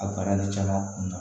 A bana nin caman kun na